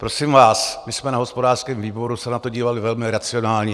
Prosím vás, my jsme na hospodářském výboru se na to dívali velmi racionálně.